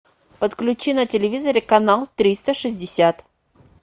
подключи на телевизоре канал триста шестьдесят